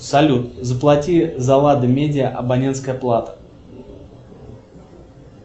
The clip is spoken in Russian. салют заплати за лада медиа абонентская плата